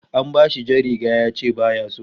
An bashi jar riga yace baya so